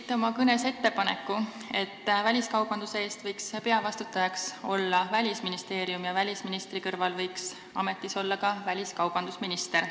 Tegite oma kõnes ettepaneku, et peavastutaja väliskaubanduse eest võiks olla Välisministeerium ja välisministri kõrval võiks ametis olla ka väliskaubandusminister.